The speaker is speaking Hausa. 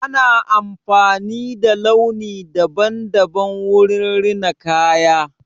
Ana amfani da launi daban-daban wurin rina kaya.